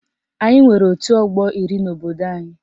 Anyị nwere otu ọgbọ iri n'obodo anyị